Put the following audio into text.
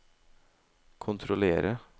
kontrollere